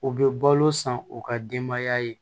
U bɛ balo san u ka denbaya ye